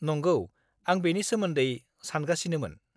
नंगौ, आं बेनि सोमोन्दै सानगासिनोमोन।